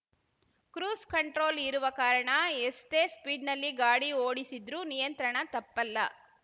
cruise control ಇರುವ ಕಾರಣ ಎಷ್ಟೇ ಸ್ಪೀಡ್‌ನಲ್ಲಿ ಗಾಡಿ ಓಡಿಸಿದ್ರೂ ನಿಯಂತ್ರಣ ತಪ್ಪಲ್ಲ